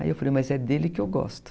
Aí eu falei, mas é dele que eu gosto.